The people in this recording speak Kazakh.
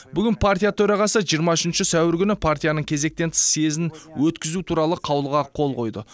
бүгін партия төрағасы жиырма үшінші сәуір күні партияның кезектен тыс съезін өткізу туралы қаулыға қол қойды